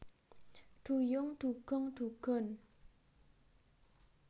Duyung Dugong Dugon